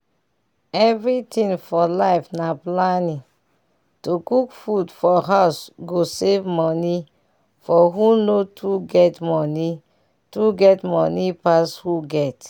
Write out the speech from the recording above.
everything for life na planning to cook for house go save money for who no too get money too get money pass who get.